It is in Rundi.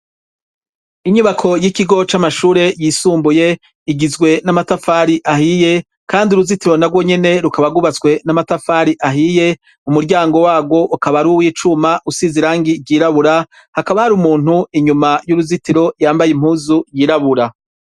Inyubako y'ikigo c'amashure yisumbuye igizwe n'amatafari ahiye. Kandi uruzitiro narwo nyene rukaba rwubatswe n'amatafari ahiye. umuryango warwo , ukaba ari uw'icuma usize irangi ry'irabura. Hakaba hari umuntu inyuma y'uruzitiro yambaye impuzu yirabura.